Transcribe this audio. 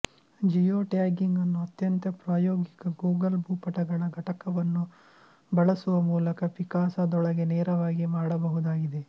Jio tagging ಅನ್ನು ಅತ್ಯಂತ ಪ್ರಾಯೋಗಿಕ ಗೂಗಲ್ ಭೂಪಟಗಳ ಘಟಕವನ್ನು ಬಳಸುವ ಮೂಲಕ ಪಿಕಾಸಾದೊಳಗೇ ನೇರವಾಗಿ ಮಾಡಬಹುದಾಗಿದೆ